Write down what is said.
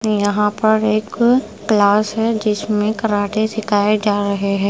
यहां पर एक क्लास है जिसमें कराटे सिखाए जा रहे हैं।